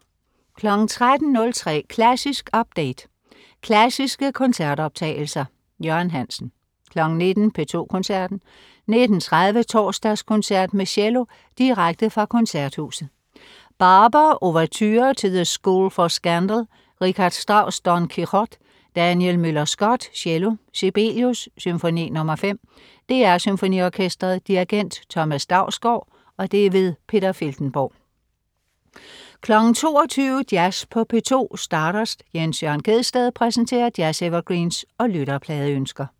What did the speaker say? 13.03 Klassisk update. Klassiske koncertoptagelser. Jørgen Hansen 19.00 P2 Koncerten. 19.30 Torsdagskoncert med cello. Direkte fra Koncerthuset. Barber: Ouverture til The School for Scandal. Richard Strauss: Don Quixote. Daniel Müller-Schott, cello. Sibelius: Symfoni nr. 5. DR SymfoniOrkestret. Dirigent: Thomas Dausgaard. Peter Filtenborg 22.00 Jazz på P2. Stardust. Jens Jørn Gjedsted præsenterer jazz-evergreens og lytterpladeønsker